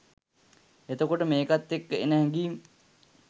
එතකොට මේකත් එක්ක එන හැඟීම්